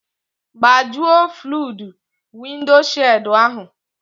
Gbajuo fluudu wịndshịịụldụ ahụ